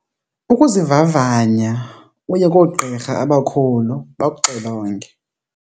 Kukuzivavanya, uye koogqirha abakhulu bakuxilonge.